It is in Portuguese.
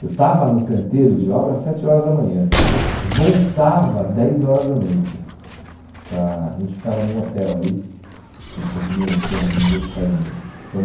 Eu estava no canteiro de obra às sete horas da manhã, voltava dez horas da noite, para a gente ficava num hotel ali, a gente conseguiu um esquema de ao invés de ficar em, ficamos